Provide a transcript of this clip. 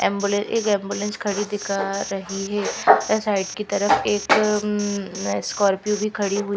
ambulance एक ambulance खड़ी दिख रही है साइड की तरफ एक स्कॉर्पियो उम्म भी खड़ी हु--